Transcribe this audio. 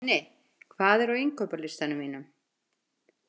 Nenni, hvað er á innkaupalistanum mínum?